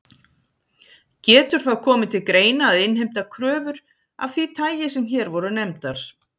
Getur þá komið til greina að innheimta kröfur af því tagi sem hér voru nefndar.